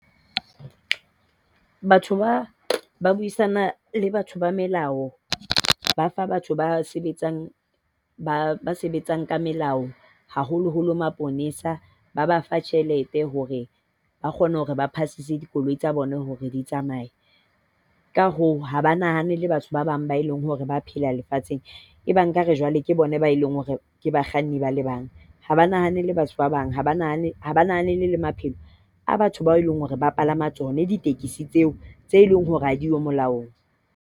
Batho ba ba buisana le batho ba melao. Ba fa batho ba sebetsang ba sebetsang ka melao, haholoholo maponesa. Ba ba fa tjhelete hore ba kgone hore ba pasise dikoloi tsa bona hore di tsamaye. Ka hoo, ha ba nahanele batho ba bang ba e leng hore ba phela lefatsheng. E bang ekare jwale ke bone ba e leng hore ke bakganni ba le bang. Ha ba nahanele batho ba bang. Ha ba nahanele maphelo a batho bao e leng hore ba palama tsona ditekesi tseo e leng hore ha di yo molaong.